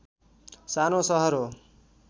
सानो सहर हो